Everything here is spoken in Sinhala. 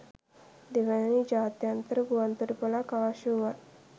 දෙවැනි ජාත්‍යන්තර ගුවන්තොටුපළක් අවශ්‍ය වුවත්